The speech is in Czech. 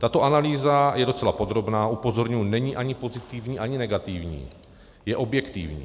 Tato analýza je docela podrobná, upozorňuji, není ani pozitivní, ani negativní, je objektivní.